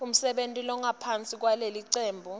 umsebenti longaphansi kwalelicembu